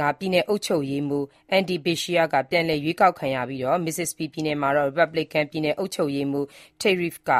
က ပြည်နယ်အုပ်ချုပ်ရေးမှူး Andy Beshear က ပြန်လည်ရွေးကောက်ခံရပြီး၊ Mississippi ပြည်နယ်မှာတော့ ရီပတ်ဘလစ်ကန် ပြည်နယ်အုပ်ချုပ်ရေးမှူး Tate Reeves က